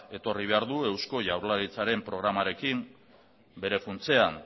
etorri behar du eusko jaurlaritzaren programarekin bere funtsean